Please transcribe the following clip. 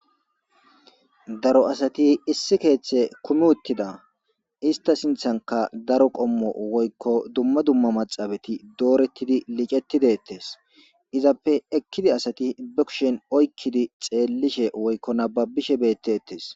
Daro asati issi keethe kumi uttida. Istta sinththankka daro qommo woykko dummu dumma maaxafeti dooretidi licettidi deetesi. Izappe ekkidi asati be kushen oykkidi xeelishe woykko nabbabishe beteetes.